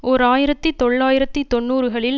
ஓர் ஆயிரத்தி தொள்ளாயிரத்தி தொன்னூறுகளில்